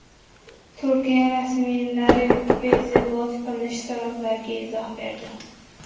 Turkiya rasmiylari Wikipedia blok qilinishi sabablariga izoh berdi.